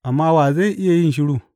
Amma wa zai iya yin shiru?